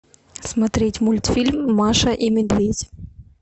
смотреть мультфильм маша и медведь